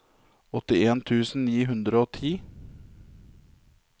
åttien tusen ni hundre og ni